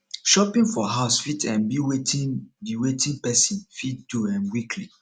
shopping for house fit um be wetin be wetin person fit do um weekly